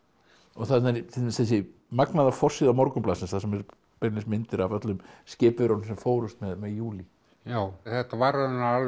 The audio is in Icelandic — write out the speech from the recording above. þarna er til dæmis þessi magnaða forsíða Morgunblaðsins þar sem eru beinlínis myndir af öllum skipverjunum sem fórust með júlí já þetta var raunar alveg